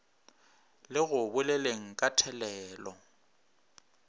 le go boleleng ka thelelo